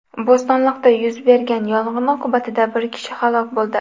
Bo‘stonliqda yuz bergan yong‘in oqibatida bir kishi halok bo‘ldi.